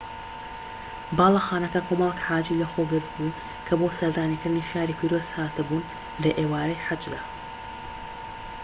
باڵەخانەکە کۆمەڵیک حاجی لەخۆگرت بوو کە بۆ سەردانیکردنی شاری پیرۆز هات بوون لە ئێوارەی حەجدا